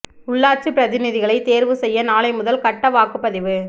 உள்ளாட்சிப் பிரதிநிதிகளை தேர்வு செய்ய நாளை முதல் கட்ட வாக்குப் பதிவு